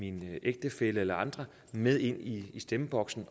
en ægtefælle eller andre med ind i stemmeboksen